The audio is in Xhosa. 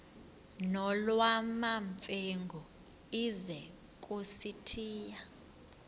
nolwamamfengu ize kusitiya